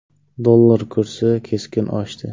Dollar kursi keskin oshdi.